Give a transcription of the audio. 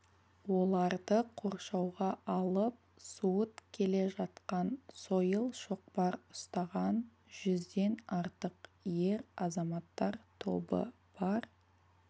оларды қоршауға алып суыт келе жатқан сойыл-шоқпар ұстаған жүзден артық ер азаматтар тобы бар